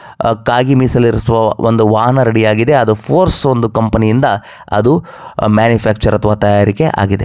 ಕಾಗಿ ಮೀಸಲಿರಿಸುವ ಒಂದು ವಾಹನ ರೆಡಿ ಯಾಗಿದೆ ಅದು ಫೋರ್ಸ್ ಅನ್ನೋ ಒಂದು ಕಂಪನಿ ಯಿಂದ ಅದು ಮ್ಯಾನುಫಾರ್ಚರ್ ಅಥವಾ ತಯಾರಿಕೆ ಆಗಿದೆ.